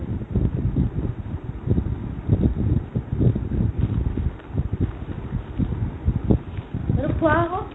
এইটো খোৱা আকৌ